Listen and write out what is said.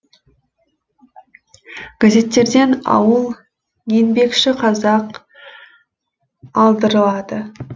газеттерден ауыл еңбекші қазақ алдырылады